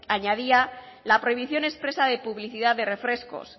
añadía la prohibición expresa de publicidad de refrescos